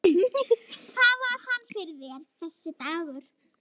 Hvað var hann fyrir þér, þessi dagur.